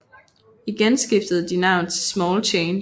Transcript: Igen skiftede de navn til Small Change